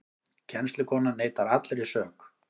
Kennslukonan neitar allri sök